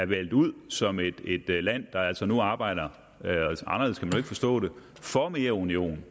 valgt ud som et land der altså nu arbejder for mere union